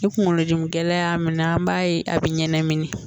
Ni kungolodimi gɛlɛn y'a minɛ, an b'a ye a bɛ ɲanamini